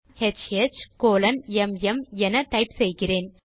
நான் HHMM என type செய்கிறேன்